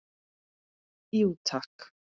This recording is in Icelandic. Jú takk